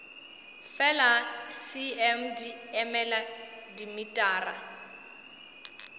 fela cm di emela dimetara